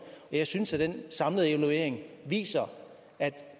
jeg synes at den samlede evaluering viser at